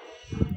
Sanunɛgɛnin